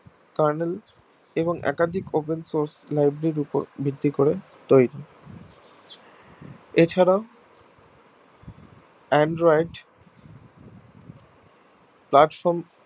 kernal এবং একাধিক open source library এর উপর ভিত্তি করে তৈরী এছাড়াও android platform